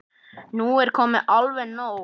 Nú er komið alveg nóg!